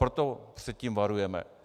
Proto před tím varujeme.